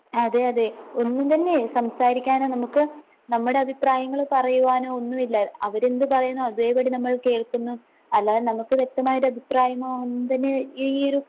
അതേയതേ ഒന്നുംതന്നെയേ സംസാരിക്കാനോ നമുക്ക് നമ്മുടെ അഭിപ്രായങ്ങള് പറയുവാനോ ഒന്നുവില്ല അവരെന്ത് പറയുന്നോ അതേപടി നമ്മൾ കേൾക്കുന്നു അല്ലാതെ നമുക്ക് വ്യക്തമായിട്ടഭിപ്രായമോ ഒന്നുംതന്നെ ഈ ഈയൊരു